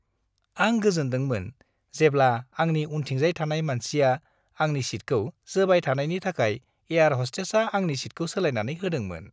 आं गोजोनदोंमोन जेब्ला आंनि उनथिंजाय थानाय मानसिया आंनि सीटखौ जोबाय थानायनि थाखाय एयार हस्टेसआ आंनि सीटखौ सोलायनानै होदोंमोन।